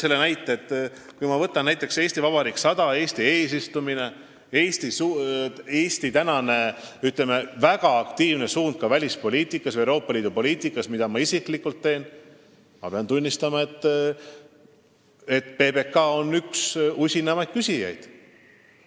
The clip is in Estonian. Ma pean tunnistama, et PBK on üks usinamaid küsijaid, kui teemaks on Eesti eesistumine, "Eesti Vabariik 100" või meie väga aktiivne roll välispoliitikas, sh Euroopa Liidu poliitikas, mille eest ma isiklikult seisan.